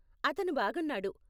అతను బాగున్నాడు.